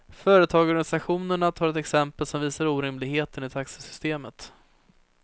Företagarorganisationerna tar ett exempel som visar orimligheten i taxesystemet.